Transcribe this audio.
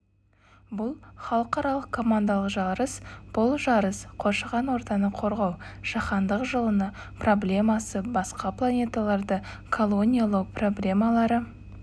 бұл халықаралық командалық жарыс бұл жарыс қоршаған ортаны қорғау жаһандық жылыну проблемасы басқа планеталарды колониялау проблемалары